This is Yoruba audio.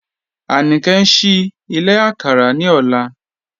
Anike n ṣìí ìlẹ̀ àkàrà ní ọ̀lá